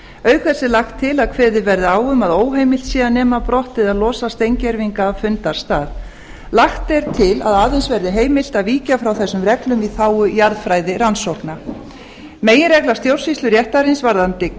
auk þess er lagt til að kveðið verði á um að óheimilt sé að nema brott eða losa steingervinga af fundarstað lagt er til að aðeins verði heimilt að víkja frá þessum reglum í þágu jarðfræðirannsókna meginregla stjórnsýsluréttarins varðandi